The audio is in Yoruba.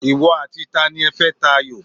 Ìwọ àti tani ẹ fẹ́ ta ayò?